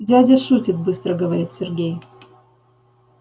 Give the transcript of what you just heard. дядя шутит быстро говорит сергей